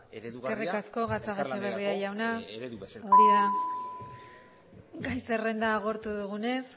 eredu bat elkarlanerako eredu bezala eskerrik asko gatzagaetxeberria jauna gai zerrenda agortu dugunez